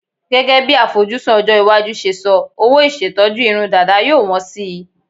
Gẹ́gẹ́ bí àfojúsùn ọjọ́-iwájú ṣe sọ, owó ìṣetọ́jú irun dàda yóò wọ́n síi.